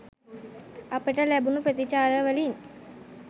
අපිට ලැබුණු ප්‍රතිචාර වලින්